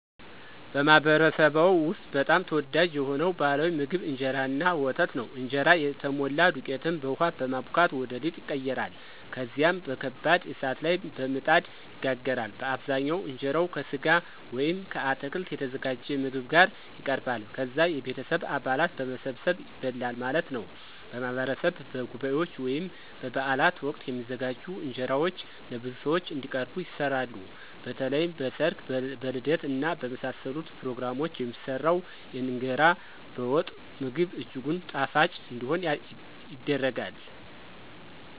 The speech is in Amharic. በማኅበረሰብዎ ውስጥ በጣም ተወዳጅ የሆነው ባሕላዊ ምግብ እንጀራ እና ወተት ነው። እንጀራ የተሞላ ዱቄትን በውሃ በማቡካት ወደ ሊጥ ይቀየራል። ከዚያም በከባድ እሳት ላይ በምጣድ ይጋገራል። በአብዛኛው እንጀራው ከሥጋ ወይም ከአትክልት የተዘጋጀ ምግብ ጋር ይቀርባል። ከዛ የቤተሰብ አባላት በመሰባሰብ ይበላል ማለት ነው። በማህበረሰብ በጉባኤዎች ወይም በበዓላት ወቅት የሚዘጋጁ እንጀራዎች ለብዙ ሰዎች እንዲቀርቡ ይሰራሉ። በተለይም በ ሰርግ ,በልደት እና በመሳሰሉት ፕሮግራሞች የሚሰራው የእንገራ በወጥ ምግብ እጅጉን ጣፋጭ እንዲሆን ይደረጋል።